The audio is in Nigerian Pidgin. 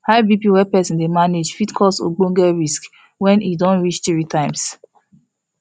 high bp wey persin dey manage fit cause ogboge risk when e don reach three times